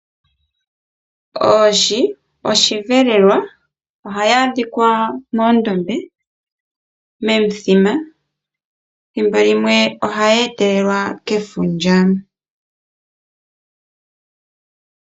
Oohi odho osheelelwa, ohadhi adhikwa moondombe nomimithima ethimbo limwe ohadhi etelelwa kefundja .